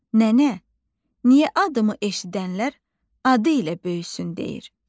Nənə, niyə adımı eşidənlər "adı ilə böyüsün" deyir?